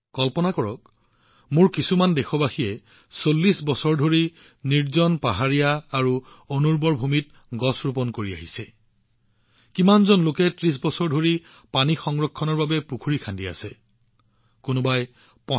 কল্পনা কৰক আমাৰ কিছুসংখ্যক দেশবাসীয়ে ৪০বছৰ ধৰি নিৰ্জন পাহাৰ আৰু অনুৰ্বৰ ভূমিত গছপুলি ৰোপণ কৰি আহিছে বহুলোকে ৩০ বছৰ ধৰি পানী সংৰক্ষণৰ বাবে ষ্টেপৱেল আৰু পুখুৰী খনন কৰি আহিছে সেইবোৰ পৰিষ্কাৰ কৰি আছে